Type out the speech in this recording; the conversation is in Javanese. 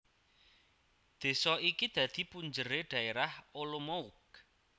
Désa iki dadi punjeré Dhaérah Olomouc